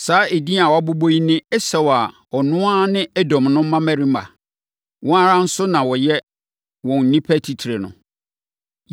Saa edin a wɔabobɔ yi ne Esau a ɔno ara ne Edom no mmammarima. Wɔn ara nso na wɔyɛ wɔn nnipa atitire no.